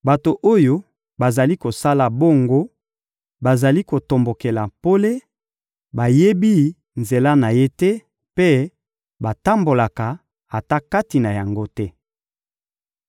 Bato oyo bazali kosala bongo, bazali kotombokela pole, bayebi nzela na Ye te mpe batambolaka ata kati na yango te.